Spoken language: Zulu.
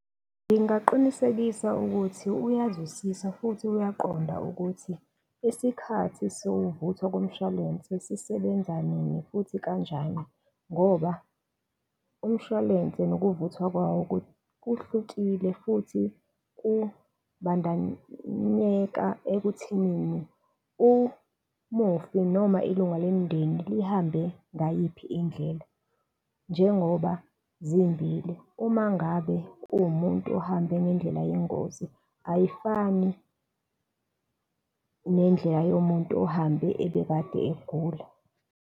Ngingaqinisekisa ukuthi uyazwisisa futhi uyaqonda ukuthi isikhathi sekuvuthwa komshwalense sisebenza nini futhi kanjani ngoba umshwalense nokuvuthwa kwawo kuhlukile futhi kubandanyeka ekuthenini, umufi noma ilunga lomndeni lihambe ngayiphi indlela, njengoba zimbili. Uma ngabe uwumuntu ohambe ngendlela yengozi ayifani, nendlela yomuntu ohambe ebekade egula.